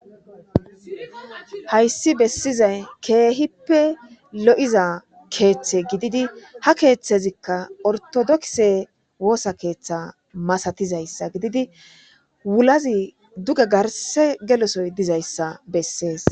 Hayssi bessizay keehippe lo'iza keeththe gididi hakeeththezikka ortodokse woosa keeththe masatizayssa gididi wulazi duge garse gelosoy dizayssa bessees.